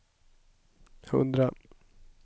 hundra